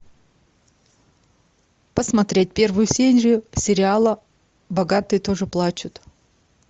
посмотреть первую серию сериала богатые тоже плачут